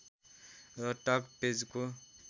र टक पेजको